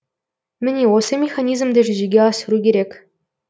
міне осы механизмді жүзеге асыру керек